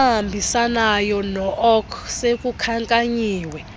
ahambisanayo nook sekukhankanyiwe